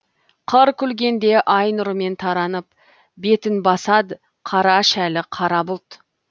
қыр күлгенде ай нұрымен таранып бетін басады қара шәлі қара бұлт